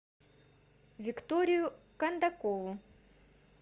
викторию кондакову